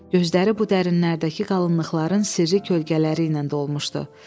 Gözləri bu dərinlikdəki qalınlıqların sirri kölgələri ilə dolmuşdu.